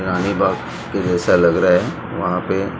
रानी बाग के जैसा लग रहा है वहां पे--